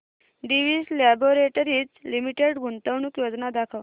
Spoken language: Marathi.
डिवीस लॅबोरेटरीज लिमिटेड गुंतवणूक योजना दाखव